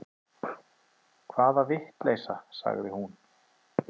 Hvaða vitleysa, sagði hún.